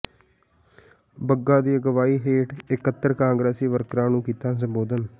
ਬੱਗਾ ਦੀ ਅਗਵਾਈ ਹੇਠ ਇਕੱਤਰ ਕਾਂਗਰਸੀ ਵਰਕਰਾਂ ਨੂੰ ਕੀਤਾ ਸੰਬੋਧਨ